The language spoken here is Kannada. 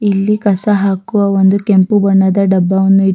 ಇಲ್ಲಿ ಕಸ ಹಾಕುವ ಒಂದು ಕೆಂಪು ಬಣ್ಣದ ಡಬ್ಬವನ್ನು ಇಟ್ --